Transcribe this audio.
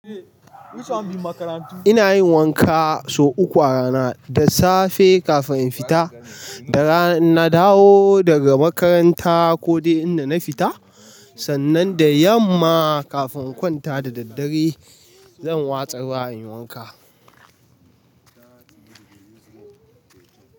Ina yin wanka sau uku a rana, da safe kafin in fita, da rana in na dawo daga makaranta ko dai inda na fita, sannan da yamma kafin in kwanta da daddare zan watsar wa in yi wanka.